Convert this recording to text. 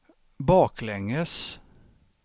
baklänges